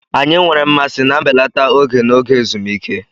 Anyị nwere mmasị na mbelata ego n'oge ezumike.